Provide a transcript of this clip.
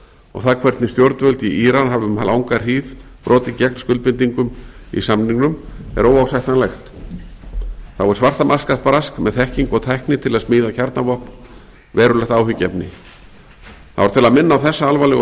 og það hvernig stjórnvöld í íran hafa um langa hríð brotið gegn skuldbindingum í samningnum er óásættanlegt þá er svartamarkaðsbrask með þekkingu og tækni til að smíða kjarnavopn verulegt áhyggjuefni það var til að minna á þessa alvarlegu